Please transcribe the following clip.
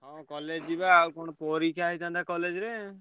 ହଁ college ଯିବା। ଆଉ କଣ ପରୀକ୍ଷା ହେଇଥାନ୍ତା college ରେ।